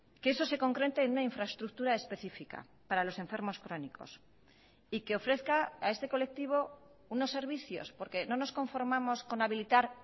que eso se concrete en una infraestructura específica para los enfermos crónicos y que ofrezca a este colectivo unos servicios porque no nos conformamos con habilitar